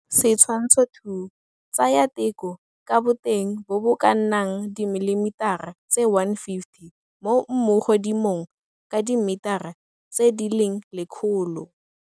Setshwantsho 2. Tsaya teko ka boteng bo bo ka nnang dimilimetara tse 150 mo mmugodimong ka dimetera tse di leng lekgolo.